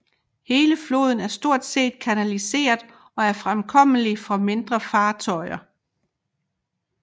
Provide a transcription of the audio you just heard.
Hele floden er stort set kanaliseret og er fremkommelig for mindre fartøjer